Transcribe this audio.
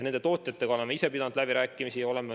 Oleme tootjatega ise pidanud läbirääkimisi.